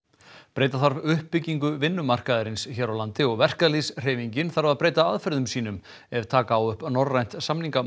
breyta þarf uppbyggingu vinnumarkaðarins hér á landi og verkalýðshreyfingin þarf að breyta aðferðum sínum ef taka á upp norrænt